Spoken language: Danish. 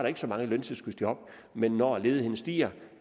ikke så mange løntilskudsjob men når ledigheden stiger